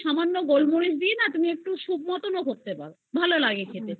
এর সময় সামান্য গোলমরিচ দিয়ে তুমি একটু soup এর মতো করতে পারো ভালো